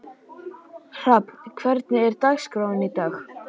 Hrafn, hvernig er dagskráin í dag?